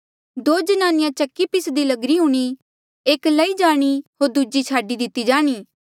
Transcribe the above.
दो ज्नानिया चक्की पिसदी लगिरी हूणीं एक लई जाणी होर दूजी छाडी दिती जाणी